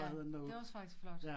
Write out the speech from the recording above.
Ja det var også faktisk flot